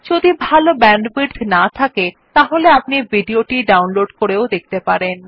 যদি ভাল ব্যান্ডউইডথ না থাকে তাহলে আপনি ভিডিও টি ডাউনলোড করেও দেখতে পারেন